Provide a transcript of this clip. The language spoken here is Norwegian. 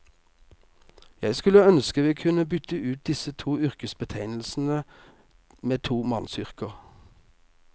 Jeg skulle ønske vi kunne bytte ut disse to yrkesbetegnelsene med to mannsyrker.